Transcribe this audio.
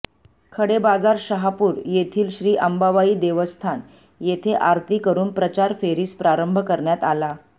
खडेबाजार शहापूर येथील श्री अंबाबाई देवस्थान येथे आरती करून प्रचार फेरीस प्रारंभ करण्यात आला